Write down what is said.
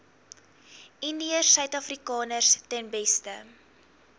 indiërsuidafrikaners ten beste